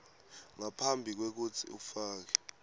ngaphambi kwekutsi ufake